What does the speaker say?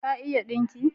Ka iya dinki?